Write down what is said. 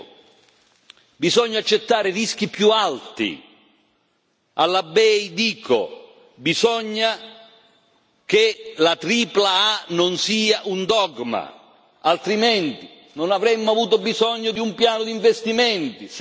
Alla BEI dico che bisogna che la tripla A non sia un dogma, altrimenti non avremmo avuto bisogno di un piano di investimenti se i progetti a più alto rischio non possono essere finanziari.